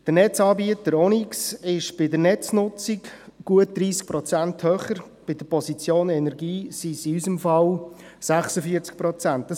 Der Netzanbieter Onyx ist bei der Netznutzung um gut 30 Prozent höher, bei der Position Energie sind es in unserem Fall 46 Prozent.